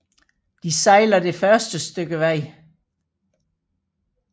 De sejler det første stykke vej